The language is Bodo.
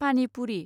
पानि पुरि